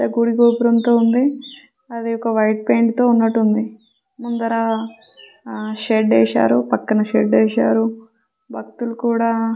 ఏది గుడి గోపురముతో ఉంది . అధీ వక వైట్ పెయింట్ తో ఉనట్టు ఉంది ముదర షెడ్ ఎషారు పక్కన షెడ్ వేసారు బకుతులు కూడా --